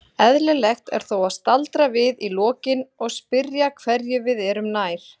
Eðlilegt er þó að staldra við í lokin og spyrja hverju við erum nær.